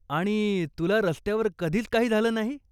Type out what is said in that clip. आणि, तुला रस्त्यावर कधीच काही झालं नाही?